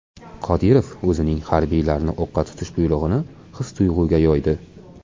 Qodirov o‘zining harbiylarni o‘qqa tutish buyrug‘ini his-tuyg‘uga yo‘ydi.